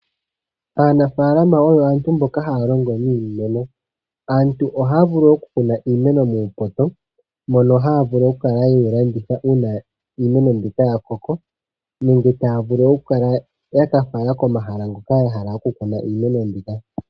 Aanafaalama oyo aantu mboka haya longo niimeno. Aantu ohaya vulu okukuna iimeno muupoto mono haya vulu okukala ye yi landitha uuna iimeno mbika ya koko nenge taya vulu okukala ya ka fala komahala hoka ya hala okukuna iimeno mbika.